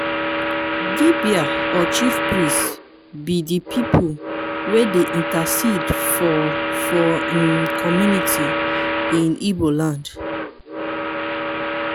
dibia or chiefpriest be de people wey dey intercede for for im community in igbo land.